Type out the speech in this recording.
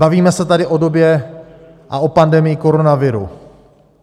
Bavíme se tady o době a o pandemii koronaviru.